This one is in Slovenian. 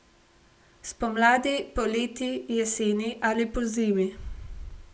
Spomladi, poleti, jeseni ali pozimi?